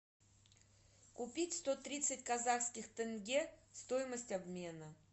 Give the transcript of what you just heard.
купить сто тридцать казахских тенге стоимость обмена